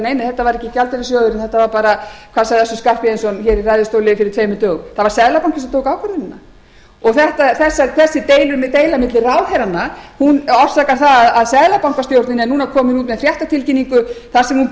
nei nei þetta var ekki alþjóðagjaldeyrissjóðurinn þetta var bara hvað sagði össur skarphéðinsson í ræðustóli fyrir tveimur dögum það var seðlabankinn sem tók ákvörðunina og þessi deila milli ráðherranna orsakar það að seðlabankastjórnin er núna komin út með fréttatilkynningu þar sem hún